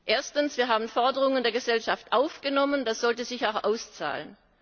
Erstens Wir haben Forderungen der Gesellschaft aufgenommen, das sollte sich auch auszahlen.